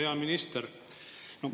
Hea minister!